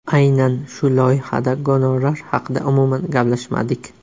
Aynan shu loyihada gonorar haqida umuman gaplashmadik.